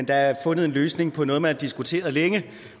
der er fundet en løsning på noget man har diskuteret længe